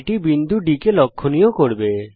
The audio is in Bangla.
এটি বিন্দু D কে লক্ষণীয় করবে